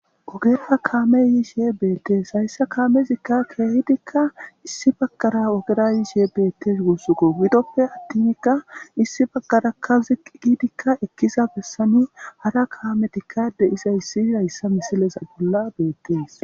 ogepfa kaame yiishe beettees hayssa kaamezikka keehidikka issi baggara ogera yiishe bettes gussuko bidoppe attinkka issi baggarakka ziq giidikka ekkiza bessani hara kaametikkade iza yssi hayssa misileza bolla beettees